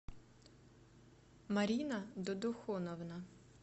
марина додохоновна